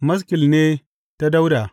Maskil ne ta Dawuda.